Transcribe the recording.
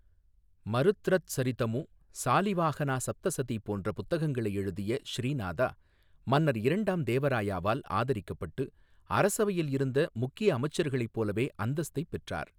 மருத்ரத்சரிதமு, ஸாலிவாஹனா சப்த சதி போன்ற புத்தகங்களை எழுதிய ஸ்ரீநாதா, மன்னர் இரண்டாம் தேவ ராயாவால் ஆதரிக்கப்பட்டு அரசவையில் இருந்த முக்கிய அமைச்சர்களைப் போலவே அந்தஸ்தைப் பெற்றார்.